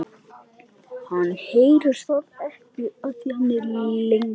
Hann heyrir það ekki.